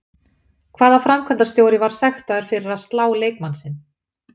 Hvaða framkvæmdarstjóri var sektaður fyrir að slá leikmann sinn?